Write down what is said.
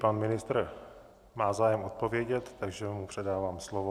Pan ministr má zájem odpovědět, takže mu předávám slovo.